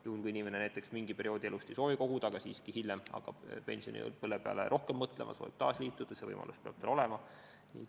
Juhul kui inimene näiteks mingil perioodil elust ei soovi koguda, aga hiljem siiski hakkab pensionipõlve peale rohkem mõtlema ja soovib taas liituda, siis see võimalus peab tal olema.